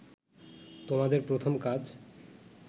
তোমাদের প্রথম কাজ